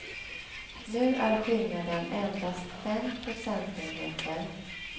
Nu är skillnaden endast fem procentenheter.